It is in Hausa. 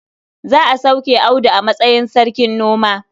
Za a sauke Audu a matsayin sarkin noma.